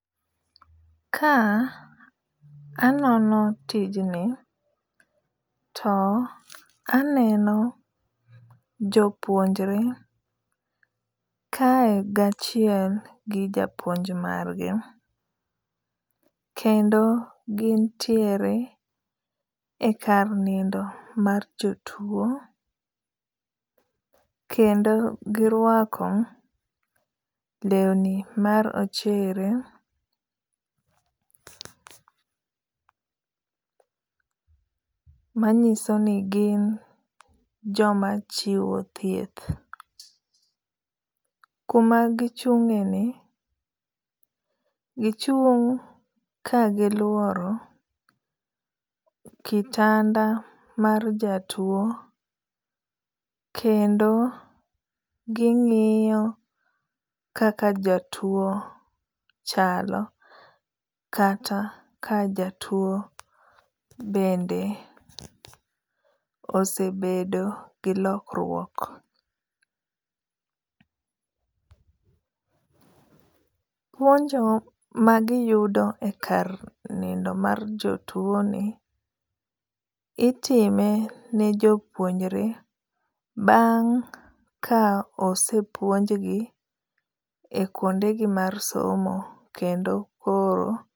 Ka anono tijni to aneno jopuonjre kae gachiel gi japuonj margi. Kendo gintiere e kar nindo mar jotuo. Kendo girwako lewni ma rochere manyiso ni gin joma chiwo thieth. Kuma gichung'e ni gichung' ka giluoro kitanda mar jatuo kendo ging'iyo kaka jatuo chalo. Kata ka jatuo bende osebedo gi lokruok. Puonjo magiyudo e kar nindo mar jotuo ni itime ne jopuonjre bang' ka osepuonj gi e kuonde gi mar somo kendo koro.